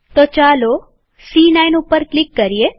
તો ચાલો સી9 ઉપર ક્લિક કરીએ